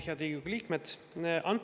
Head Riigikogu liikmed!